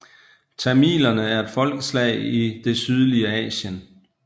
Tamilerne er et folkeslag i det sydlige Asien